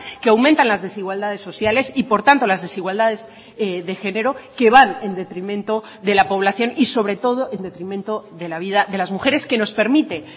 que aumentan las desigualdades sociales y por tanto las desigualdades de género que van en detrimento de la población y sobre todo en detrimento de la vida de las mujeres que nos permite